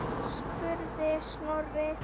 spurði Snorri.